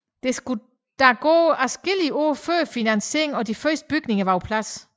Der skulle dog gå adskillige år før finansieringen og de første bygninger var på plads